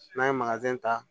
N'an ye ta